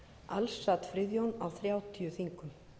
alls sat friðjón á þrjátíu þingum